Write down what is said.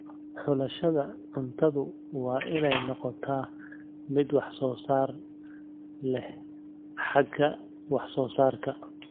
Xulashada cuntadu waa inay noqotaa mid wax soo saar leh xagga wax soo saarka.